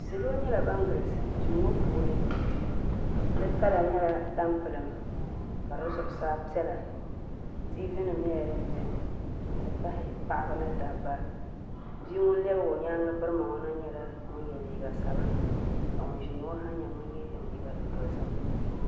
Salo nyɛla ban galisi duu ŋo puuni di kala nyɛla tampilim ka di zuɣusaa piɛla tiivi nim nyɛla din biɛni n ti pahi paɣaba ni dabba bia ŋun lɛbigi o nyaanga birima na ŋo nyɛla ŋun yɛ liiga sabinli ka ŋun ʒɛya ŋo ha mii yɛ zaɣ dozim